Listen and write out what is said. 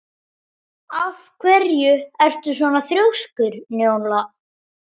Af hverju ertu svona þrjóskur, Njóla?